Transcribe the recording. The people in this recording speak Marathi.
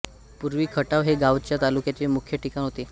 पुर्वी खटाव हे गावच तालुक्याचे मुख्य ठिकाण होते